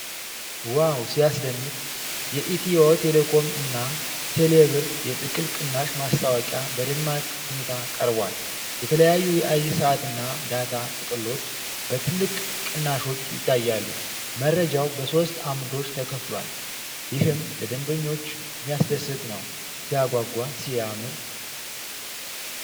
ዋው ሲያስደንቅ! የኢትዮ ቴሌኮም እና ተሌብር የጥቅል ቅናሽ ማስታወቂያ በደማቅ ሁኔታ ቀርቧል። የተለያዩ የአየር ሰዓትና ዳታ ጥቅሎች በትልቅ ቅናሾች ይታያሉ። መረጃው በሦስት ዓምዶች ተከፍሏል። ይህም ለደንበኞች የሚያስደስት ነው። ሲያጓጓ! ሲያምር!